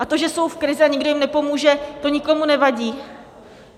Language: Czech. A to, že jsou v krizi a nikdo jim nepomůže, to nikomu nevadí!